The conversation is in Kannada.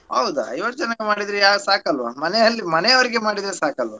ಹೌದ ಐವತ್ ಜನಕ್ ಮಾಡಿದ್ರೆ ಯಾರ್ ಸಾಕಲ್ವಾ ಮನೆಯಲ್ಲಿ ಮನೆಯವ್ರಿಗೆ ಮಾಡಿದ್ರೆ ಸಾಕಲ್ವಾ.